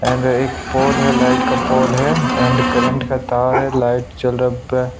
and pole है light का pole है एंड करंट का तार है लाइट चल रहा है पे--